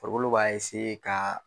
Farikolo b'a ka